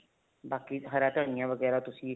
ਬਾਕੀ ਹਰਾ ਧਨੀਆ ਵਗੈਰਾ ਤੁਸੀਂ